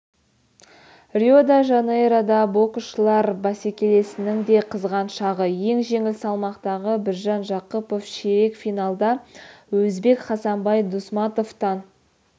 рио-де-жанейрода боксшылар бәсекесінің де қызған шағы ең жеңіл салмақтағы біржан жақыпов ширек финалда өзбек хасанбай дусматовтан